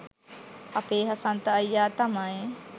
අපේ හසන්ත අයියා තමයි